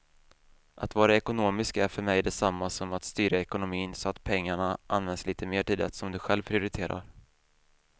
Att vara ekonomisk är för mig detsamma som att styra ekonomin så att pengarna används lite mer till det som du själv prioriterar.